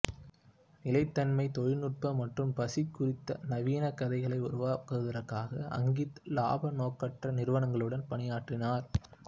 நிலைத்தன்மை தொழில்நுட்பம் மற்றும் பசி குறித்த நவீன கதைகளை உருவாக்குவதற்காக அங்கித் லாப நோக்கற்ற நிறுவனங்களுடன் பணியாற்றினார்